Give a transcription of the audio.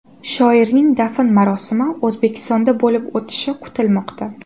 Shoirning dafn marosimi O‘zbekistonda bo‘lib o‘tishi kutilmoqda .